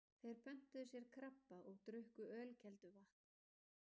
Þeir pöntuðu sér krabba og drukku ölkelduvatn